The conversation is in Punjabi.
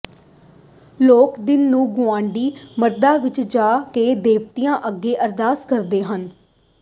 ਲੋਕ ਦਿਨ ਨੂੰ ਗੁਆਂਢੀ ਮੰਦਰਾਂ ਵਿਚ ਜਾ ਕੇ ਦੇਵਤਿਆਂ ਅੱਗੇ ਅਰਦਾਸ ਕਰਦੇ ਹਨ